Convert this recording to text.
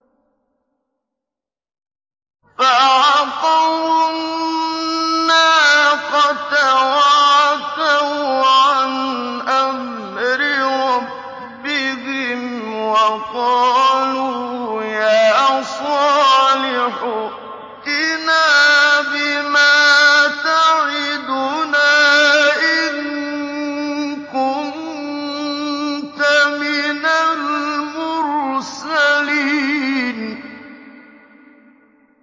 فَعَقَرُوا النَّاقَةَ وَعَتَوْا عَنْ أَمْرِ رَبِّهِمْ وَقَالُوا يَا صَالِحُ ائْتِنَا بِمَا تَعِدُنَا إِن كُنتَ مِنَ الْمُرْسَلِينَ